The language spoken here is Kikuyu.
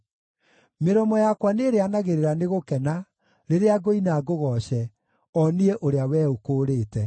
Mĩromo yakwa nĩrĩanagĩrĩra nĩ gũkena rĩrĩa ngũina ngũgooce, o niĩ, ũrĩa Wee ũkũũrĩte.